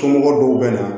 Somɔgɔw dɔw bɛ na